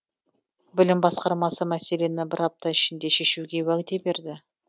білім басқармасы мәселені бір апта ішінде шешуге уәде берді